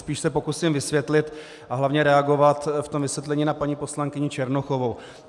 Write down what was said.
Spíš se pokusím vysvětlit a hlavně reagovat v tom vysvětlení na paní poslankyni Černochovou.